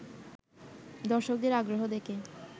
দর্শকদের আগ্রহ দেখে